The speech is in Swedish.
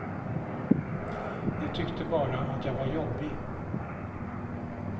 De tyckte bara att jag var jobbig.